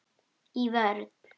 Í vörn.